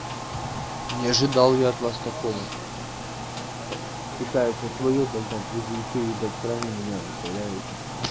не ожидал я от вас такого пытаешься своё догнать все ещё ебать крайним меня выставляете